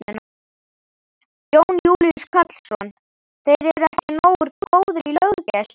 Jón Júlíus Karlsson: Þeir eru ekki nógu góðir í löggæslu?